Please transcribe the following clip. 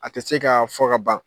A tɛ se ka fɔ ka ban.